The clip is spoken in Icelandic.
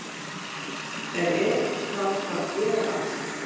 En er það að gera allt?